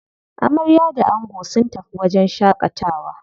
Amarya da ango sun tafi wajen shaƙatawa.